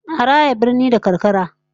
A raya birni da karkara